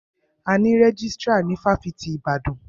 A ní rẹ́jístrà ní ifáfitì Ibadan.